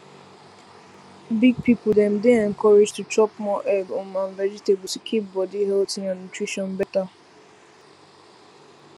big people dem dey encouraged to chop more egg um and vegetable to keep body healthy and nutrition better